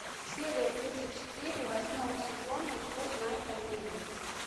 серия тридцать четыре восьмого сезона что знает оливия